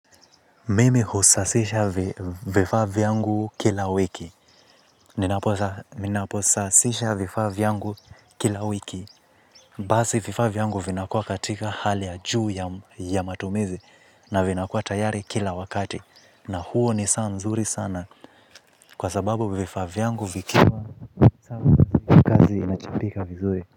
Mimi husasisha vifaa vyangu kila wiki. Ninaposasisha vifaa vyangu kila wiki. Basi vifavla vyangu vinakuwa katika hali ya juu ya matumizi na vinakuwa tayari kila wakati. Na huo ni saa mzuri sana kwa sababu vifaa vyangu vikiwa sawa kazi inachapika vizuri.